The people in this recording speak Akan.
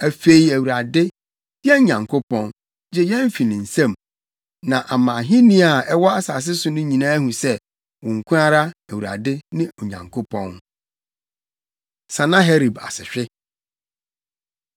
Afei Awurade, yɛn Nyankopɔn, gye yɛn fi ne nsam, na ama ahenni a ɛwɔ asase so nyinaa ahu sɛ, wo nko ara, Awurade, ne Onyankopɔn.” Sanaherib Asehwe